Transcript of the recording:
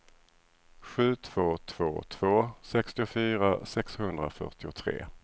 sju två två två sextiofyra sexhundrafyrtiotre